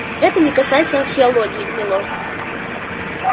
это не касается археологии милорд